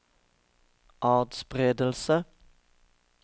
atspredelse